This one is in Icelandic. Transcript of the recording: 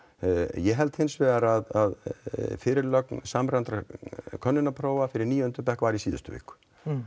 ég held hins vegar að fyrirlögn samræmdra könnunarprófa fyrir níunda bekk var í síðustu viku